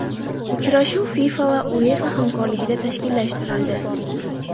Uchrashuv FIFA va UEFA hamkorligida tashkillashtirildi.